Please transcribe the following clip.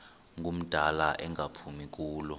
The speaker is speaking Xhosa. ngumdala engaphumi kulo